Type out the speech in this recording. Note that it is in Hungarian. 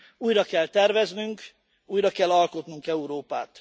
Újra kell terveznünk, újra kell alkotnunk Európát.